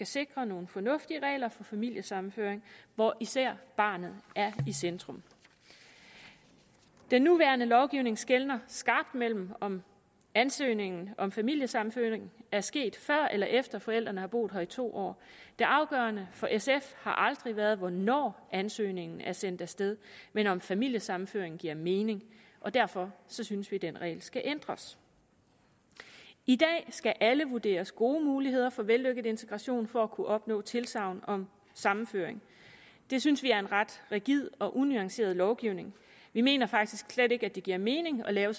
sikre nogle fornuftige regler for familiesammenføring hvor især barnet er i centrum den nuværende lovgivning skelner skarpt mellem om ansøgninger om familiesammenføring er sket før eller efter at forældrene har boet her i to år det afgørende for sf har aldrig været hvornår ansøgningen er sendt af sted men om familiesammenføring giver mening derfor synes vi den regel skal ændres i dag skal alle vurderes gode muligheder for vellykket integration for at kunne opnå tilsagn om sammenføring det synes vi er en ret rigid og unuanceret lovgivning vi mener faktisk slet ikke at det giver mening at lave